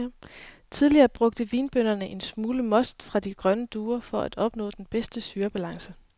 Tidligere brugte vinbønderne en lille smule most fra de grønne druer for at opnå den bedste syrebalance.